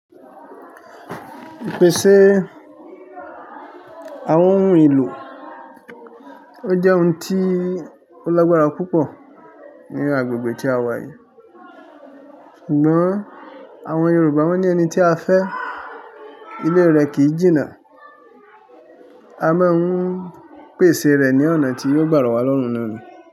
Pèsè àwọn ohun èlò. Ó jẹ́ ohun tí ó lágbára púpọ̀ ní agbègbè tí a wà yìí. Sugbon àwọn Yorùbá wọ́n ní ẹni tí a fẹ́, ilé rẹ̀ kì í jìnnà. A máa ń pèsè rẹ̀ ní ọ̀nà tí yóò gbà ro wá lọ́rùn-ún ni.